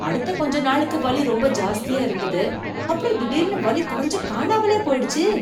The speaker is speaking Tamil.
அடுத்த கொஞ்ச நாளுக்கு வலி ரொம்ப ஜாஸ்தியா இருந்தது, அப்பறம் திடீர்னு வலி குறைஞ்சு காணாமலே போயிடுச்சு